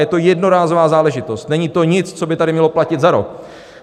Je to jednorázová záležitost, není to nic, co by tady mělo platit za rok.